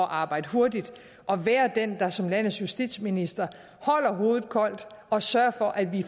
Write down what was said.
arbejde hurtigt at være den der som landets justitsminister holder hovedet koldt og sørger for at vi